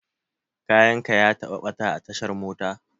Kayan ka ya taɓa ɓata a tashar mota?